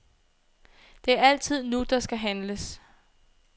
Det er altid nu, der skal handles.